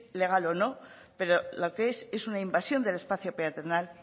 legal o no pero lo que es una invasión del espacio peatonal